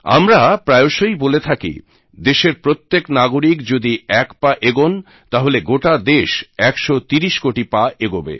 আমরা প্রায়শই বলে থাকি দেশের প্রত্যেক নাগরিক যদি এক পা এগোন তাহলে গোটা দেশ একশো তিরিশ কোটি পা এগোবে